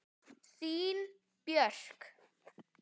Þín Björk.